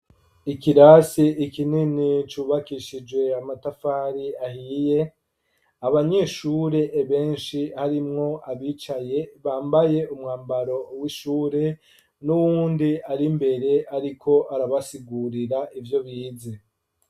Ikirasi kinini, cubakishije amatafari ahiye; abanyeshure benshi, harimwo abicaye, bambaye, umwambaro w'ishure, n'uwundi ari imbere, ariko arabasigurira, ivyo bize.